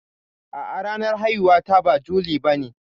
A'a ranar haihuwar ta ba juli bane.